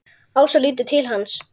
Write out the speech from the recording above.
Ása lítur til hans.